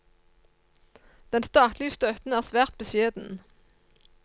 Den statlige støtten er svært beskjeden.